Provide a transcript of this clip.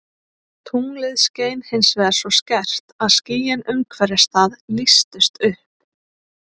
Tunglið skein hins vegar svo skært að skýin umhverfis það lýstust upp.